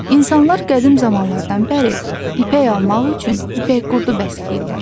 İnsanlar qədim zamanlardan bəri ipək almaq üçün ipək qurdu bəsləyirlər.